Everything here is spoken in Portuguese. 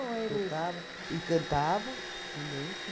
Ou ele... Tocava e cantava também.